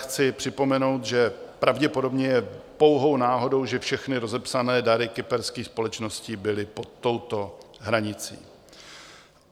Chci připomenout, že pravděpodobně je pouhou náhodou, že všechny rozepsané dary kyperských společností byly pod touto hranicí.